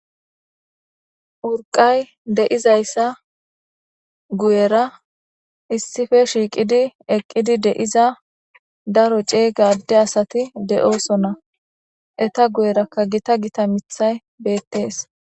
urqay de7izayssa guyera issife shiiqidi eqqidi de7iza daro ceega adde asati de7oosona eta guyerakka gita gita mithay beettees